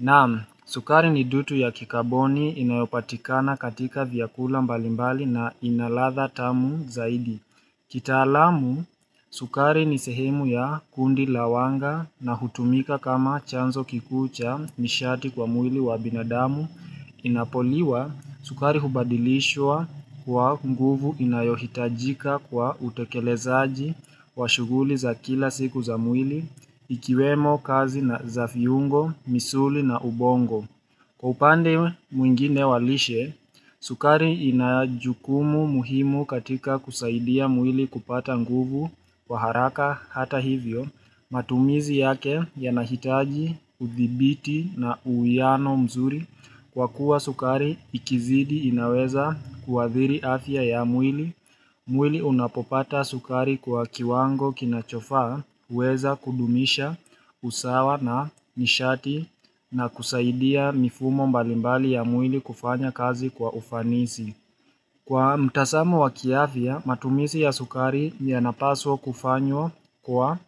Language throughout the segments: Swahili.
Naam, sukari ni dutu ya kikaboni inayopatikana katika vyakula mbalimbali na ina ladha tamu zaidi. Kitaalamu, sukari ni sehemu ya kundi la wanga na hutumika kama chanzo kikuu cha mishati kwa mwili wa binadamu. Inapoliwa, sukari hubadilishwa kwa mguvu inayohitajika kwa utekelezaji wa shuguli za kila siku za mwili, Ikiwemo kazi na za viungo, misuli na ubongo Kwa upande mwingine walishe, sukari inajukumu muhimu katika kusaidia mwili kupata nguvu Kwa haraka hata hivyo, matumizi yake yanahitaji, uthibiti na uwiano mzuri Kwa kuwa sukari ikizidi inaweza kuadhiri afya ya mwili mwili unapopata sukari kwa kiwango kinachofaa huweza kudumisha usawa na nishati na kusaidia mifumo mbalimbali ya mwili kufanya kazi kwa ufanisi. Kwa mtazamo wa kiafya, matumizi ya sukari yanapaswa kufanywa kwa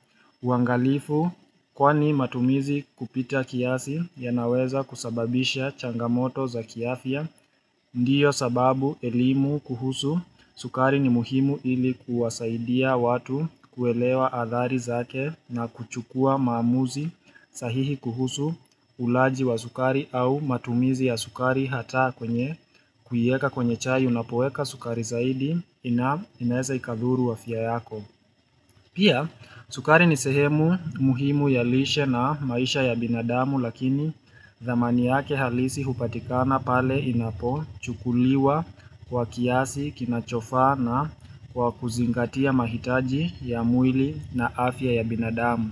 uangalifu kwani matumizi kupita kiasi yanaweza kusababisha changamoto za kiafya. Ndiyo sababu elimu kuhusu sukari ni muhimu ili kuwasaidia watu kuelewa adhari zake na kuchukua maamuzi sahihi kuhusu uulaji wa sukari au matumizi ya sukari hata kwenye kuiweka kwenye chai unapoweka sukari zaidi inaeza ikadhuru afia yako. Pia, sukari ni sehemu muhimu ya lishe na maisha ya binadamu lakini dhamani yake halisi hupatikana pale inapochukuliwa kwa kiasi kinachofaa na kwa kuzingatia mahitaji ya mwili na afya ya binadamu.